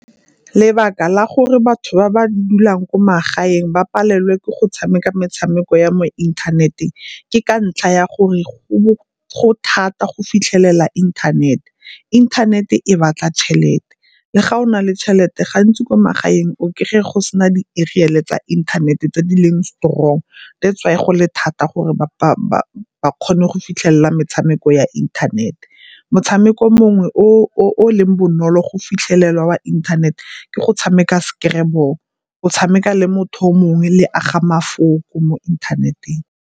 Lebaka la gore batho ba ba dulang ko magaeng ba palelwe ke go tshameka metshameko ya mo inthaneteng ke ka ntlha ya gore go thata go fitlhelela inthanete. Inthanete e batla tšhelete, le ga o na le tšhelete gantsi ko magaeng o kry-a go se na di-ariel-e tsa inthanete tse di leng strong that's why go le thata gore ba kgone go fitlhelela metshameko ya internet-e. Motshameko mongwe o o leng bonolo go fitlhelelwa wa inthanete ke go tshameka scrabble, o tshameka le motho o mongwe le aga mafoko mo inthaneteng.